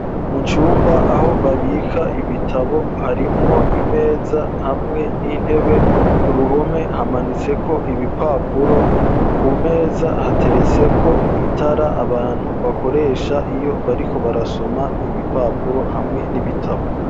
Mu cumba aho babika ibitabo harimwo imeza hamwe n'intebe, ku ruhome hamanitseko ibipapuro ku meza hateretse ko itara abantu bakoresha iyo bariko barasoma ibipapuro hamwe n'ibitabo.